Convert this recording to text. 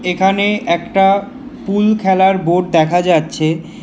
এখানে একটা পুল খেলার বোর্ড দেখা যাচ্ছে।